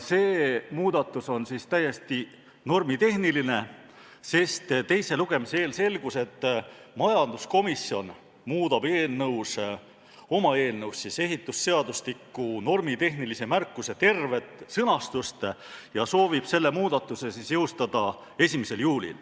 See muudatus on seega täiesti normitehniline, sest teise lugemise eel selgus, et majanduskomisjon muudab oma eelnõus ehitusseadustiku normitehnilise märkuse tervet sõnastust ja soovib selle muudatuse jõustada 1. juulil.